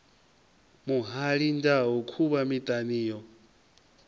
muhali ndau khuvha miṱana yo